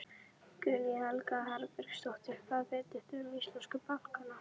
Guðný Helga Herbertsdóttir: Hvað vitið þið um íslensku bankana?